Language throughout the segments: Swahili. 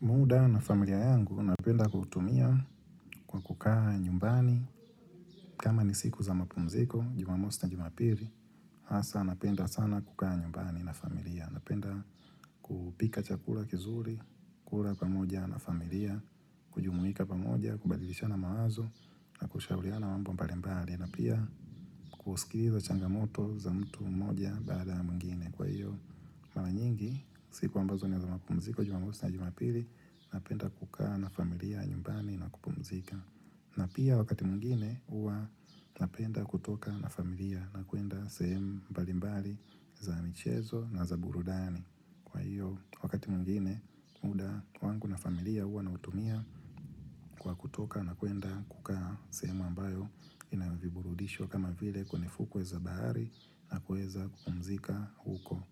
Muda na familia yangu napenda kutumia kwa kukaa nyumbani, kama ni siku za mapumziko jumamosi na jumapilii, hasa napenda sana kukaa nyumbani na familia. Napenda kupika chakula kizuri, kula pamoja na familia, kujumuika pamoja, kubadilishana mawazo, na kushauriana mambo mbali, na pia kuskiza changamoto za mtu mmoja baada ya mwingine kwa hivyo. Mara nyingi, siku ambazo ni za mapumziko jumamosi na jumapili napenda kukaa na familia nyumbani na kupumzika. Na pia wakati mwingine huwa napenda kutoka na familia na kuenda sehemu mbalimbali za michezo na za burudani. Kwa hiyo, wakati mwngine muda wangu na familia huwa nawatumia kwa kutoka na kuenda kukaa sehemu ambayo ina viburudisho kama vile kwenye fukwe za bahari na kuweza kupumzika huko.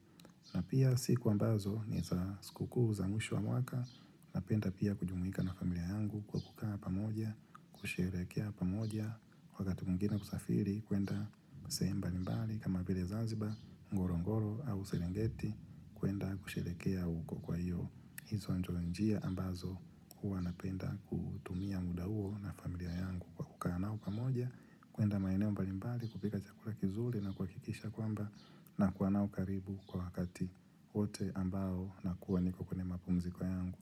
Na pia siku ambazo ni za sikukuu za mwisho wa mwaka napenda pia kujumuika na familia yangu kwa kukaa pamoja, kusherehekea pamoja, wakati mwingine kusafiri kuenda sehemu mbali mbali kama vile Zanzibar, Ngorongoro au Serengeti kuenda kusherehekea uko kwa hiyo. Hizo ndo njia ambazo huwa napenda kutumia muda huo na familia yangu kwa kukaa nao pamoja, kuenda maeneo mbalimbali, kupika chakula kizuri na kuhakikisha kwamba nakuwa nao karibu kwa wakati wote ambao nakuwa niko kwenye mapumziko yangu.